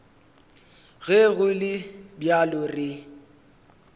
ge go le bjalo re